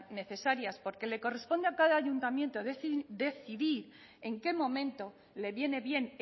necesarias porque le corresponde a cada ayuntamiento decidir en qué momento le viene bien